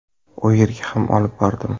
U yerga ham olib bordim.